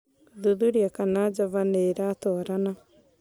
Gũthuthuria kana java nĩ ĩratwarana